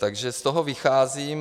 Takže z toho vycházím.